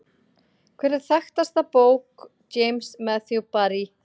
Hver er þekktasta bók James Matthew Barrie?